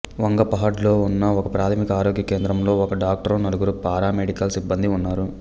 వంగపహాడ్లో ఉన్న ఒకప్రాథమిక ఆరోగ్య కేంద్రంలో ఒక డాక్టరు నలుగురు పారామెడికల్ సిబ్బందీ ఉన్నారు